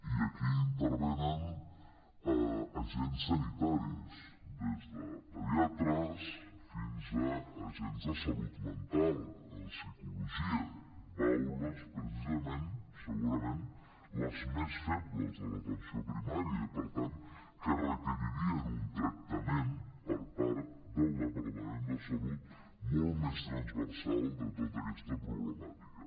i aquí intervenen agents sanitaris des de pediatres fins a agents de salut mental psicologia baules precisament segurament les més febles de l’atenció primària i per tant que requeririen un tractament per part del departament de salut molt més transversal de tota aquesta problemàtica